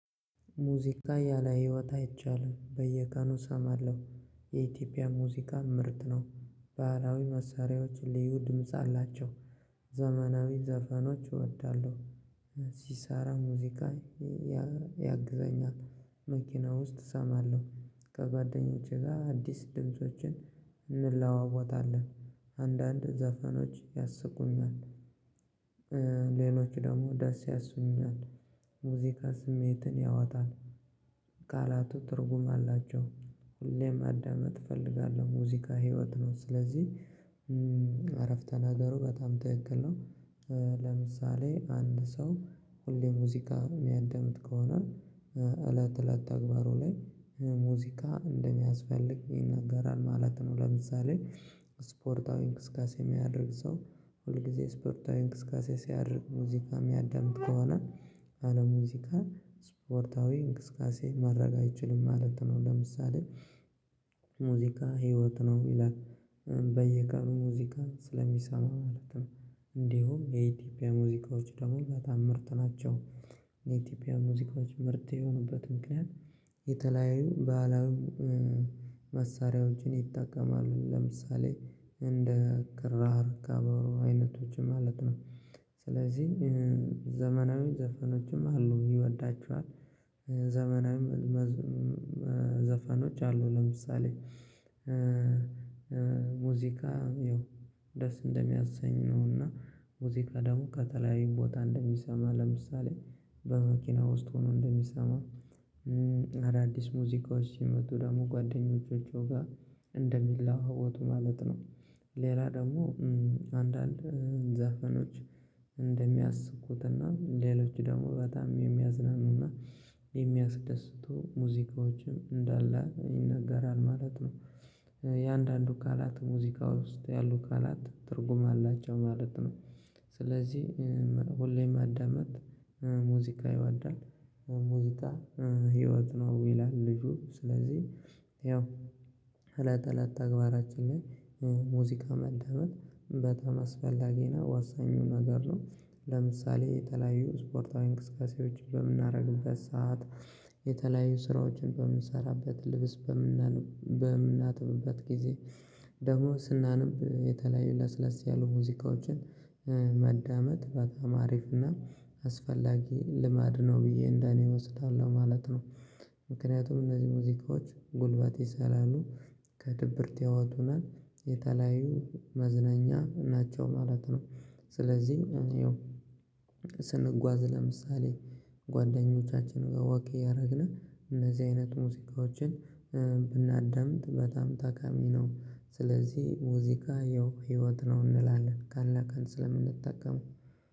ሙዚቃ ያለ ህይወት አይቻልም በየቀኑ እሰማለሁ የኢትዮጵያ ሙዚቃ ምርጥ ነው። ባህላዊ መሳሪያዎች ልዩ ድምጽ አላቸው። ዘመናዊ ዘፈኖች እወዳለሁ። ሲሳራ ሙዚቃ። ያግዘኛል መኪና ውስጥ እሰማለሁ። ከጓደኞቼ ጋር አዲስ ድምፆችን እንለዋወጣለን። አንዳንድ ዘፈኖች ያስቁኛል። ሌሎች ደግሞ ደስ ያሰኙኛል። ሙዚቃ ስሜትን ያወጣል። ቃላቱ ትርጉም አላቸው ሁሌም ማዳመጥ እፈልጋለሁ ሙዚቃ ህይወት ነው። ስለዚህ አረፍተ ነገሩ በጣም ትክክል ነው። ለምሳሌ አንድ ሰው ሁሌ ሙዚቃ የሚያዳምጥ ከሆነ እለት እለት ተግባሩ ላይ ሙዚቃ እንደሚያስፈልግ ይነገራል ማለት ነው። ለምሳሌ ስፖርታዊ እንቅስቃሴ የሚያደርግ ሰው ሁል ጊዜ ስፖርታዊ እንቅስቃሴ ሲያደርግ ሙዚቃ የሚያዳምጥ ከሆነ ያለሙዚቃ ስፖርታዊ እንቅስቃሴ ማድረግ አይችልም ማለት ነው። ለምሳሌ ሙዚቃ ህይወት ነው ይላል። በየቀኑ ሙዚቃ ስለሚሰማው ማለት ነው። እንዲሁም የኢትዮጵያ ሙዚቃዎች ደግሞ በታም ምርጥ ናቸው። የኢትዮጵያ ሙዚቃዎች ምርጥ የሆኑበት ምክንያት። የተለያዩ ባህላዊ ይጠቀማሉ ለምሳሌ እንደ ክራር ከበሮ አይነቶች ማለት ነው። ስለዚህ ዘመናዊ ዘፈኖችም አሉ ይወዳቸዋል። ዘመናዊ ዘፈኖች አሉ ለምሳሌ። ሙዚቃ ይኸው ደስ እንደሚያሰኝ ነው። እና ሙዚቃ ደግሞ ከተለያዩ ቦታ እንደሚሰማ ለምሳሌ በመኪና ውስጥ ሆኖ እንደሚሰማ። አዳዲስ ሙዚቃዎች ሲመጡ ደግሞ ጓደኞቻቸው ጋር እንደሚላውጡ ማለት ነው። ሌላ ደግሞ አንዳንድ ዘፈኖች እንደሚያስቁትና ሌሎች ደግሞ በጣም የሚያዝናኑና የሚያስደስቱ ሙዚቃዎችም እንዳለ ይነገራል ማለት ነው። የአንዳንዱ ቃላት ሙዚቃ ውስጥ ያሉ ቃላት ትርጉም አላቸው ማለት ነው። ስለዚህ ሁሌም ማዳመጥ ሙዚቃ ይወዳል ሙዚቃ ህይወት ነው ይላል። ልጁ ስለዚህ ያው እለት እለት ተግባራችን ላይ ሙዚቃ ማደመጥ በጣም አስፈላጊ ነው ዋሳኙ ነገር ነው። ለምሳሌ የተለያዩ ስፖርታዊ እንቅስቃሴዎች በምናደርግበት ሰዓት የተለያዩ ስራዎችን በምንሰራበት ልብስ በምናጥብበት ጊዜ ደግሞ ስናነብ የተለያዩ ለስለስ ያሉ ሙዚቃዎችን ማዳመጥ በጣም አሪፍ እና አስፈላጊ ልማድ ነው ብዬ እንደኔ እወስዳለሁ ማለት ነው። ምክንያቱም እነዚህ ሙዚቃዎች ጉልበት ሳላሉ ከድብርት ያወጡና የተለያዩ መዝናኛ ናቸው ማለት ነው። ስለዚህ ይኸው ስንጓዝ ለምሳሌ ጓደኞቻችን ጋር ወኪ እያደረግነን እነዚህ አይነት ሙዚቃዎችን ብናዳምጥ በጣም ጠቃሚ ነው። ስለዚህ ሙዚቃ ያው ህይወት ነው እንላለን ቀን ቀን ስለምንጠቀመው